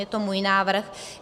Je to můj návrh.